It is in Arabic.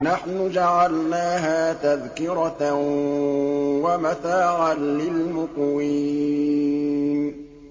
نَحْنُ جَعَلْنَاهَا تَذْكِرَةً وَمَتَاعًا لِّلْمُقْوِينَ